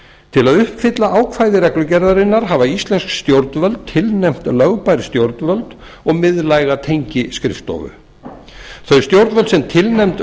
til að uppfylla ákvæði reglugerðarinnar hafa íslensk stjórnvöld tilnefnt lögbær stjórnvöld og miðlæga tengiskrifstofu þau stjórnvöld sem tilnefnd